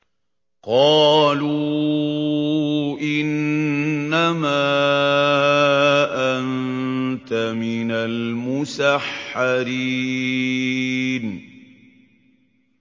قَالُوا إِنَّمَا أَنتَ مِنَ الْمُسَحَّرِينَ